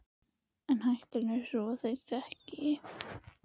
En hættan er sú að þeir þekki